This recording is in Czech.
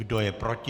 Kdo je proti?